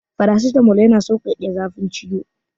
Farasitamol yana saukake zafin ciwo.